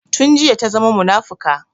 Tun jiya ta zama munafuka